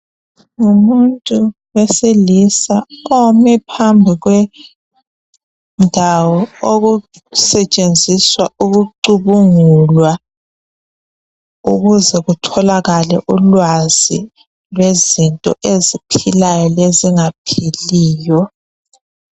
Ngumuntu wesilisa ome phambi kwendawo okusetshenziswa ukucubungulwa ukuze kutholakale ulwazi lwezinto eziphilayo lezingaphiliyo.